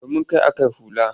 Domin kai ake hula.